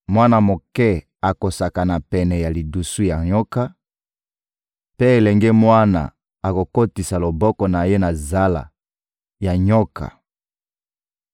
Mwana moke akosakana pene ya lidusu ya nyoka, mpe elenge mwana akokotisa loboko na ye na zala ya nyoka.